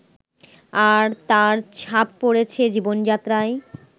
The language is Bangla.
আর তার ছাপ পড়েছে জীবনযাত্রায়